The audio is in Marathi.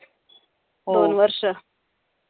दोन वर्ष.